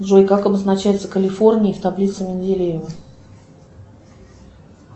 джой как обозначается калифорний в таблице менделеева